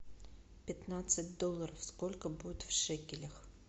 пятнадцать долларов сколько будет в шекелях